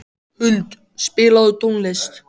Huld, spilaðu tónlist.